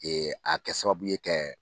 Ee a kɛ sababuye kɛ.